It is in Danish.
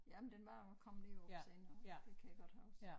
Jamen den var kommet derop senere det kan jeg godt huske